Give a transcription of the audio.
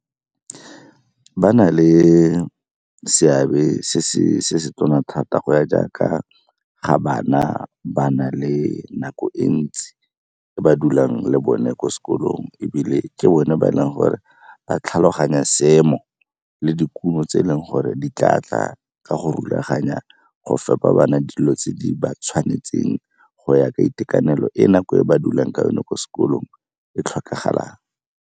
Ba na le seabe se se tona thata go ya jaaka ga bana ba na le nako e ntsi ba dulang le bone kwa sekolong. Ebile ke bone ba e leng gore ba tlhaloganya seemo le dikumo tse e leng gore di tla tla ka go rulaganya go fepa bana dilo tse di ba tshwanetseng go ya ka itekanelo e nako e ba dulang ka yone kwa sekolong e tlhokagalang.